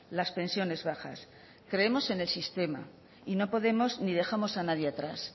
las pensiones bajas creemos en el sistema y no podemos ni dejamos a nadie atrás